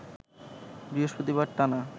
বৃহস্পতিবার টানা